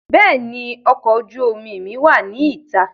Béèni ọkọ̀ ojú omi mi wá ní ìta